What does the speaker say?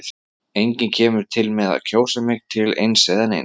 Enginn kemur til með að kjósa mig til eins eða neins.